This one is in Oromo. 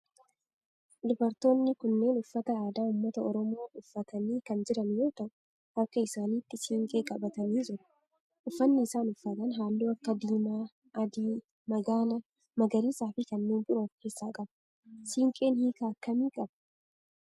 dubartoonni kunneen uffata aadaa ummata oromoo uffatanii kan jiran yoo ta'u harka isaanitti siinqee qabatanii jiru. uffanni isaan uffatan halluu akka diimaa, adii, magaala, magariisaa fi kanneen biroo of keessaa qaba. siinqeen hiika akkamii qaba?